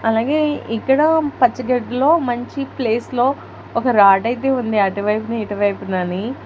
అలాగేయ్ ఇక్కడ పచ్చి గడ్డిలో మంచి ప్లేస్ లో ఒక రాడ్ అయితే ఉంది అటు వైపున ఇటు వైపునాని.